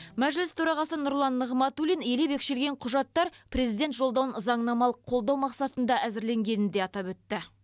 мәжіліс төрағасы нұрлан нығматулин елеп екшелген құжаттар президент жолдауын заңнамалық қолдау мақсатында әзірленгенін де атап өтті